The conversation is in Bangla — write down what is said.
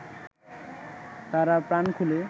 তারা প্রাণ খুলে